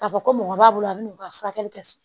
K'a fɔ ko mɔgɔ b'a bolo a bɛ n'u ka furakɛli kɛ